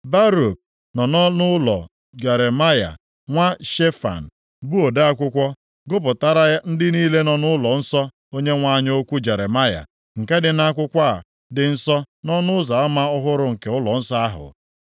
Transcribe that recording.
Baruk nọ nʼọnụụlọ Gemaraya nwa Shefan, bụ ode akwụkwọ, gụpụtara ndị niile nọ nʼụlọnsọ Onyenwe anyị okwu Jeremaya, nke dị nʼakwụkwọ a dị nsọ nʼọnụ ụzọ ama ọhụrụ nke ụlọnsọ ahụ.